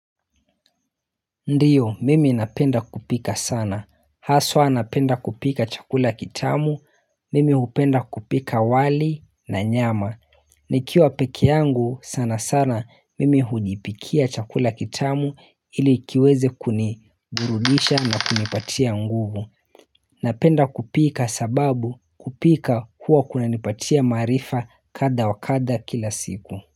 Ndiyo mimi napenda kupika sana. Ndiyo mimi napenda kupika sana. Haswa napenda kupika chakula kitamu. Nikiwa peke yangu sana sana mimi hujipikia ili kiweze kuniburudisha na kunipatia nguvu nikiwa peke yangu sana sana mimi hujipikia chakula kitamu ilikiweze kunigurulisha na kunipatia nguvu.